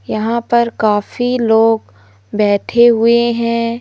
यहां पर काफी लोग बैठे हुए हैं।